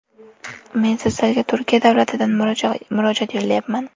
Men sizlarga Turkiya davlatidan murojaat yo‘llayapman.